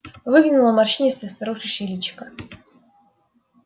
выглянуло морщинистое старушечье личико